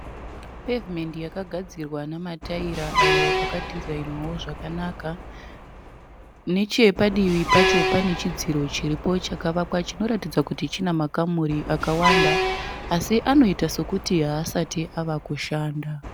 Pevhumendi yakagadzirwa nemataira ayo akadhizainiwawo zvakawanda. Nechepadivi pacho pane chidziro chiripo chakavakwa chinoratidza kuti chine makamuri akawanda asi anoita sekuti haasati avakushanda.